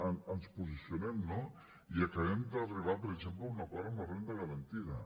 ens posicionem no i acabem d’arribar per exemple a un acord en la renda garantida